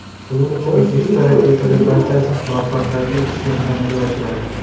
Shuning uchun yuzta raketadan barchasi muvaffaqiyatli uchishni amalga oshiradi.